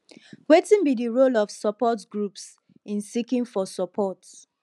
wetin be di role of support groups in seeking for support